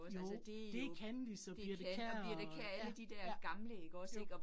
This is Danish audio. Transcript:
Jo, det Kandis og Birthe Kjær og ja, ja, jo